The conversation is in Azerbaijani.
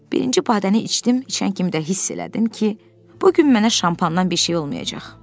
Birinci badəni içdim, içən kimi də hiss elədim ki, bu gün mənə şampandan bir şey olmayacaq.